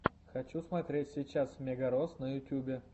хочу смотреть сейчас мегарос на ютюбе